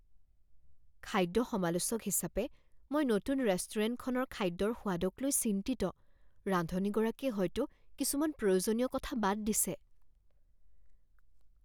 খাদ্য সমালোচক হিচাপে, মই নতুন ৰেষ্টুৰেণ্টখনৰ খাদ্যৰ সোৱাদক লৈ চিন্তিত। ৰান্ধনীগৰাকীয়ে হয়তো কিছুমান প্ৰয়োজনীয় কথা বাদ দিছে।